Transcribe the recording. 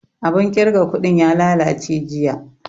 Abun ƙirga kuɗin ya lalace jiya